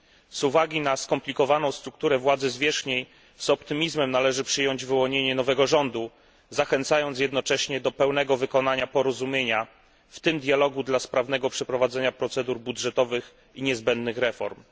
Z uwagi na skomplikowaną strukturę władzy zwierzchniej, z optymizmem należy przyjąć wyłonienie nowego rządu, zachęcając jednocześnie do pełnego wykonania porozumienia, w tym dialogu dla sprawnego przeprowadzenia procedur budżetowych i niezbędnych reform.